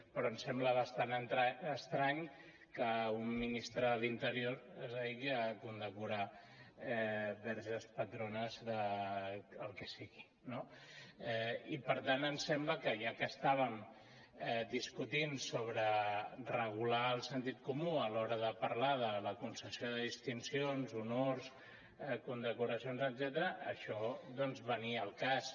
però ens sembla bastant estrany que un ministre de l’interior es dediqui a condecorar verges patrones del que sigui no i per tant ens sembla que ja que estàvem discutint sobre regular el sentit comú a l’hora de parlar de la concessió de distincions honors condecoracions etcètera això doncs venia al cas